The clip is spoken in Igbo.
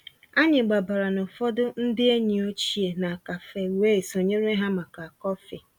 Ànyị́ gbabàrà ná ụ̀fọ̀dụ̀ ndí ényí òchie ná cafe wéé sonyéré há màkà kọ́fị̀.